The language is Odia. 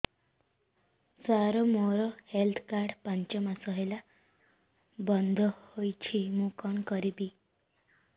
ସାର ମୋର ହେଲ୍ଥ କାର୍ଡ ପାଞ୍ଚ ମାସ ହେଲା ବଂଦ ହୋଇଛି ମୁଁ କଣ କରିବି